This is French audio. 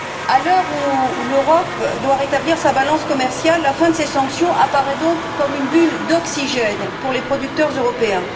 À l'heure où l'Europe doit rétablir sa balance commerciale, la fin de ces sanctions apparaît donc comme une bulle d'oxygène pour les producteurs européens.